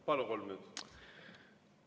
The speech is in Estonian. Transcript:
Palun, kolm minutit!